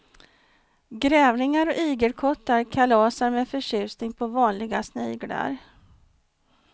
Grävlingar och igelkottar kalasar med förtjusning på vanliga sniglar.